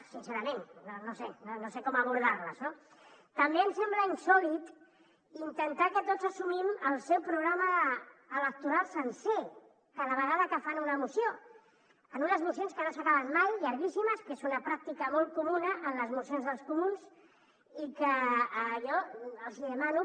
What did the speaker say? sincerament no sé com abordar·les no també em sembla insòlit intentar que tots assumim el seu programa electoral sencer cada vegada que fan una moció en unes mocions que no s’acaben mai llar·guíssimes que és una pràctica molt comuna en les mocions dels comuns i que jo els hi demano